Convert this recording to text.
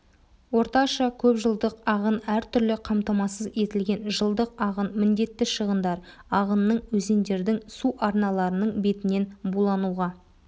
орташа көпжылдық ағын әртүрлі қамтамасыз етілген жылдық ағын міндетті шығындар ағынның өзендердің су арналарының бетінен булануға